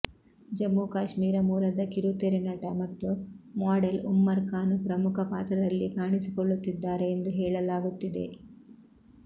ಜಮ್ಮು ಕಾಶ್ಮೀರ ಮೂಲದ ಕಿರುತೆರೆ ನಟ ಮತ್ತು ಮಾಡೆಲ್ ಉಮ್ಮರ್ ಖಾನ್ ಪ್ರಮುಖ ಪಾತ್ರದಲ್ಲಿ ಕಾಣಿಸಿಕೊಳ್ಳುತ್ತಿದ್ದಾರೆ ಎಂದು ಹೇಳಲಾಗುತ್ತಿದೆ